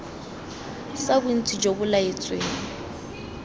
sa bontsi jo bo laetsweng